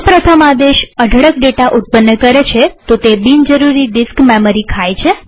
જો પ્રથમ આદેશ અઢળક ડેટા ઉત્પન્ન કરે છેતો તે બિન જરૂરી ડિસ્ક મેમરી ખાય છે